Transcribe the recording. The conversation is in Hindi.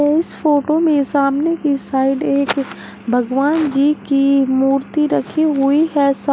इस फोटो में सामने की साइड एक भगवान जी की मूर्ति रखी हुई है।